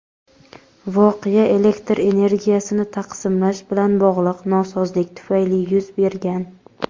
voqea elektr energiyasini taqsimlash bilan bog‘liq nosozlik tufayli yuz bergan.